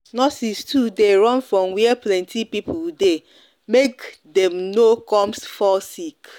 nurses too de run from were plenty people people dey make dem no com fall sick